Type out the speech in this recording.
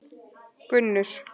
Gunnur